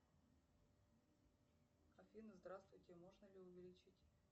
афина здравствуйте можно ли увеличить